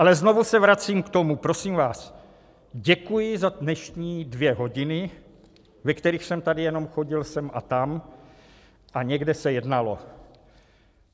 Ale znovu se vracím k tomu, prosím vás: děkuji za dnešní dvě hodiny, ve kterých jsem tady jenom chodil sem a tam a někde se jednalo.